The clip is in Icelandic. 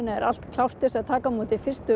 er allt klárt til að taka á móti fyrstu